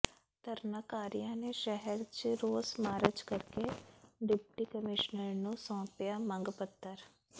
ਧਰਨਾਕਾਰੀਆਂ ਨੇ ਸ਼ਹਿਰ ਚ ਰੋਸ ਮਾਰਚ ਕਰਕੇ ਡਿਪਟੀ ਕਮਿਸ਼ਨਰ ਨੂੰ ਸੌਂਪਿਆ ਮੰਗ ਪੱਤਰ